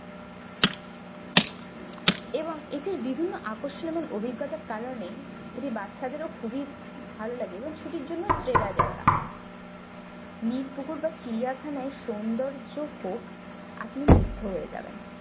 এবং এটি বিভিন্ন আকর্ষণ ও অভিজ্ঞতার কারণে এটি বাচ্চাদের ও খুবই ভালো লাগে এবং ছুটির জন্য সেরা জায়গা নিরপুকুর বা চিড়িয়াখানায় সৌন্দর্য হোক আপনি মুগ্ধ হয়ে যাবেন।